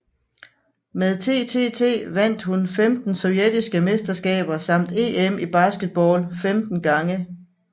Med TTT vandt hun 15 sovjetiske mesterskaber samt EM i basketball 15 gange